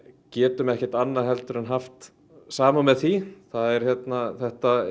getum ekki annað en haft samúð með því þetta